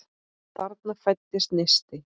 Þarna fæddist neisti.